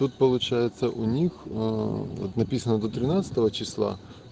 тут получается у них ээ вот написано до тринадцатого числа